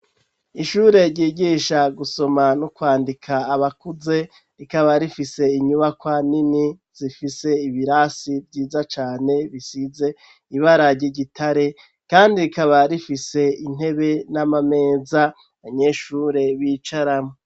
Ishure ryigisha gusoma no kwandika abakuze rikaba rifise inyubakwa nini zifise ibirasi vyiza cane bisize ibara ry'igitare kandi rikaba rifise intebe n'amameza abanyeshure b'icaramwo.